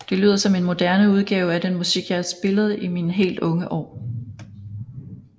Det lyder som en moderne udgave af den musik jeg spillede i mine helt unge år